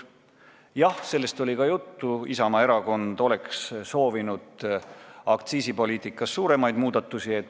Jah, sellest oli ka juttu: Isamaa erakond oleks soovinud aktsiisipoliitikas suuremaid muudatusi.